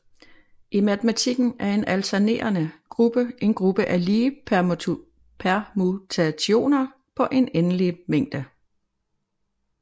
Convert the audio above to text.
I matematikken er en alternerende gruppe en gruppe af lige permutationer på en endelig mængde